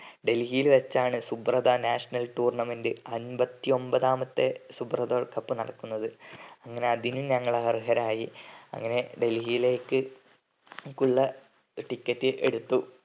ഡൽഹിയിൽ വച്ചിട്ടാണിയൂ ശുഭ്രത national tournament അമ്പത്തിഒന്നാമത്തെ ശുഭ്രത കപ്പ് നടത്തുന്നത് അങ്ങനെ അതിനും ഞങ്ങൾ അർഹരായി ങ്ങനെ ഡൽഹിയിലേക്ക് ഉള്ള ticket ഏടുത്തു